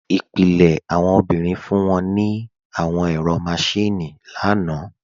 Ipilẹ̀ awọn obìnrin fún wọn ní àwọn ẹ̀rọ máṣìnnì lánà